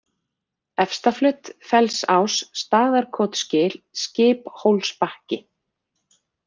Efstaflöt, Fellsás, Staðarkotsgil, Skiphólsbakki